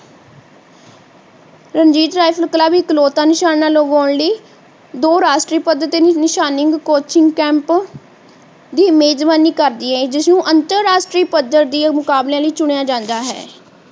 Ranjit rifle club ਇਕਲੌਤਾ ਨਿਸ਼ਾਨਾ ਲਵਾਉਣ ਲਈ ਦੋ ਰਾਸ਼ਟਰੀ ਪਦ ਦੇ ਨਿਸ਼ਾਨੇ ਨੂੰ coaching camp ਦੀ ਮੇਹਜ਼ਬਾਨੀ ਕਰਦੀ ਹੈ ਜਿਸ ਨੂੰ ਅੰਤਰ ਰਾਸ਼ਟਰੀ ਪੱਧਰ ਦੇ ਮੁਕਾਬਲੇ ਲਈ ਚੁਣਿਆ ਜਾਂਦਾ ਹੈ